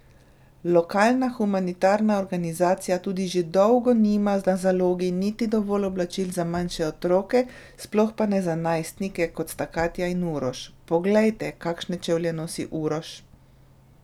Lokalna humanitarna organizacija tudi že dolgo nima na zalogi niti dovolj oblačil za manjše otroke, sploh pa ne za najstnike, kot sta Katja in Uroš: 'Poglejte, kakšne čevlje nosi Uroš!